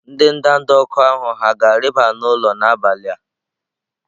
Ndị ndanda ọkụ ahụ hà ga-arịba n'ụlọ n'abalị a?